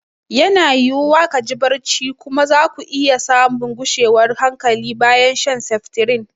Yana yiwuwa ka ji barci kuma za ku iya samun gushewar hankali bayan shan seftirin.